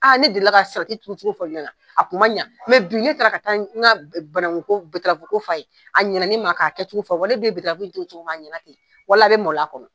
Aa ne delila ka salati turucogo fɔ ne ɲɛna a kun ma ɲa bi ne taara ka taa n ka bananku berafoko f'a ye a ɲɛna ne ma k'a kɛ cogo fɔ wale de ye turu cogo min a ɲɛna ten wa a bɛ maloya a kɔnɔ